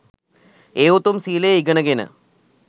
ඒ උතුම් සීලය ඉගෙනගෙන